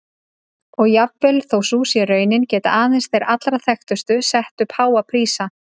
Og jafnvel þó sú sé raunin geta aðeins þeir allra þekktustu sett upp háa prísa.